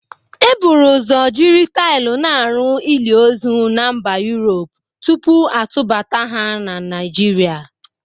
E buru ụzọ jiri taịl na-arụ ili ozu na Mba Yurop tupu a tubata ha na Naịjirịa.